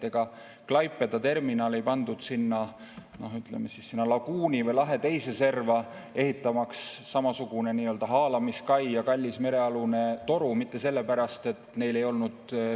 Ega Klaipeda terminali ei sinna, ütleme siis, laguuni või lahe teise serva, ehitamaks samasugune nii-öelda haalamiskai ja kallis merealune toru, mitte sellepärast, et neil ei olnud kaijoont.